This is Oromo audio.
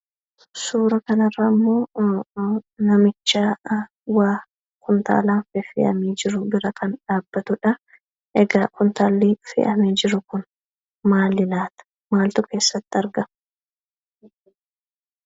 Suuraa kanarrammoo namicha kumtaalan waa feffe'aani jiran bira kan dhabbatudha. Egaa kumtaalli fe'aame jiru kun maali laata? Maaltu keessatti argama?